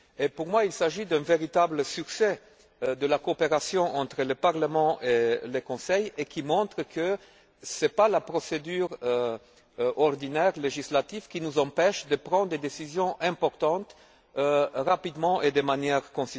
Pour moi, il s'agit d'un véritable succès de la coopération entre le Parlement et le Conseil, qui montre que ce n'est pas la procédure ordinaire législative qui nous empêche de prendre des décisions importantes rapidement et de manière cohérente.